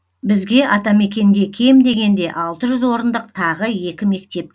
бізге атамекенге кем дегенде алты жүз орындық тағы екі мектеп